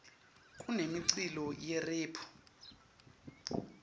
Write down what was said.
kunemiculo yerephu